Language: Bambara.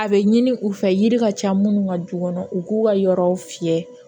A bɛ ɲini u fɛ yiri ka ca minnu ka du kɔnɔ u k'u ka yɔrɔ fiyɛ